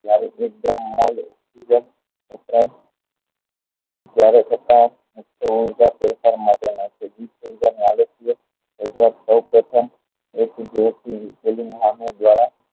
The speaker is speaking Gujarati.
જ્યારે એકદમ વપરાય ત્યારે થતા સૌ પ્રથમ દ્વારા